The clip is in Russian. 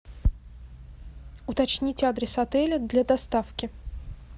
уточнить адрес отеля для доставки